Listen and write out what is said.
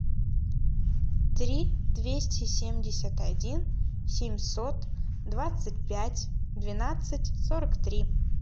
три двести семьдесят один семьсот двадцать пять двенадцать сорок три